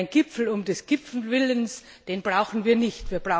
Denn einen Gipfel um des Gipfels willen brauchen wir nicht.